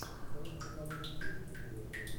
в твоем каталоге есть милая лента